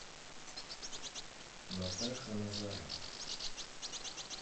натаха назарова